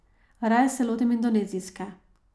Raje se lotim indonezijske.